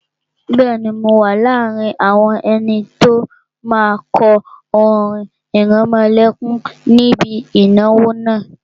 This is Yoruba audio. Bẹ́ẹ̀ni, mo wà láàrin àwọn ẹni tó máa kọ orin ìrẹmọlẹ́kún níbi ìnáwó náà